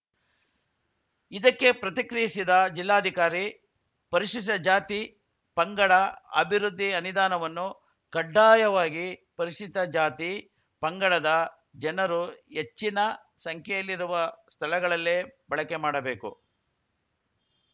ಇದಕ್ಕೆ ಪ್ರತಿಕ್ರಿಯಿಸಿದ ಜಿಲ್ಲಾಧಿಕಾರಿ ಪರಿಶಿಷ್ಟ ಜಾತಿ ಪಂಗಡ ಅಭಿವೃದ್ಧಿ ಅನಿದಾನವನ್ನು ಕಡ್ಡಾಯವಾಗಿ ಪರಿಶಿಷ್ಟ ಜಾತಿ ಪಂಗಡದ ಜನರು ಹೆಚ್ಚಿನ ಸಂಖ್ಯೆಯಲ್ಲಿರುವ ಸ್ಥಳಗಳಲ್ಲೇ ಬಳಕೆ ಮಾಡಬೇಕು